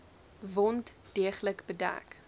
wond deeglik bedek